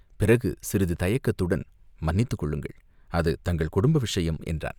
பிறகு சிறிது தயக்கத்துடன், "மன்னித்துக் கொள்ளுங்கள், அது தங்கள் குடும்ப விஷயம்!" என்றான்.